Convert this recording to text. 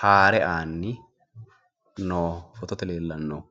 haare aanni noo fotote leellannohu.